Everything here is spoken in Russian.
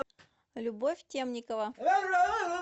любовь темникова